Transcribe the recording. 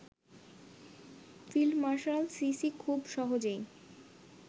field marshal Sisi খুব সহজেই